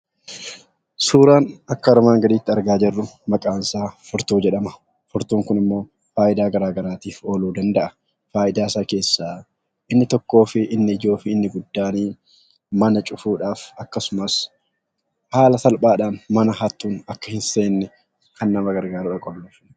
Suuraan akka armaan gadiitti argaa jirru maqaan isaa furtuu jedhama. Furtuun kunimmoo faayidaa gara garaatiif ooluu danda’a . Faayidaa isaa keessaa inni ijoo fi inni guddaan mana cufuudhaaf akkasumas haala salphaadhaan akka hattoonni mana hin seenne akka nama gargaaruuf qollofu.